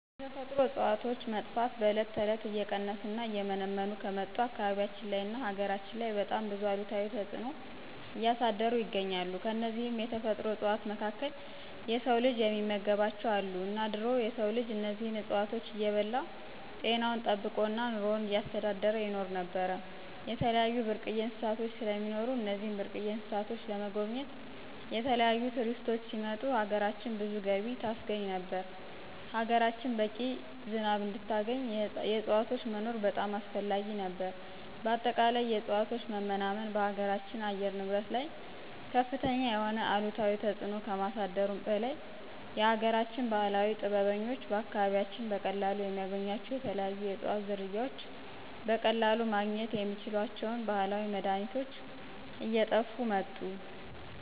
የተፈጥሮ እፅዋቶች መጥፋት በዕለት ተዕለት እየቀነሱ እና እየመነመኑ ከመጡ አካባቢያችን ላይ እና ሀገራችን ላይ በጣም ብዙ አሉታዊ ተፅኖ እያሳደሩ ይገኛሉ። ከነዚህም የተፈጥሮ እፅዋቶች መካከል የስው ልጅ የሚመገባቸው አሉ እና ድሮ የስው ልጅ እነዚህን እፅዋቶች እየበላ ጤናውን ጠበቆ እና ኑሮውን እያስተዳደረ ይኖር ነበር። የተለያዩ ብርቅየ እንስሳቶች ስለሚኖሩ እነዚህን ብርቅየ እንስሳቶችን ለመጎብኘት የተለያዪ ቱሪስቶች ሲመጡ ሀገራችን ብዙ ገቢ ታስገኝ ነበር፣ ሀገራችን በቂ ዝናብ እንድታገኝ የዕፅዋቶች መኖር በጣም አስፈላጊ ነበር። በአጠቃላይ የእፅዋት መናመን በሀገራችን አየር ንብረት ላይ ከፍተኛ የሆነ አሉታዊ ተፅኖ ከማሳደሩ በላይ የሀገራችን ባህላዊ ጥበበኞች በአካባቢያችን በቀላሉ የሚያገኟቸው የተለያዩ የእፅዋት ዝርያዎች በቀለሉ ማግኝት የሚችሏቸውን ባህላዊ መድሀኒቶች እየጥፉ መጡ።